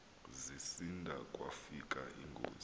zisinda kwakufika ingozi